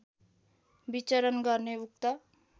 विचरण गर्ने उक्त